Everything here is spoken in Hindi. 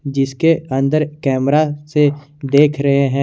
जिसके अंदर कैमरा से देख रहे हैं।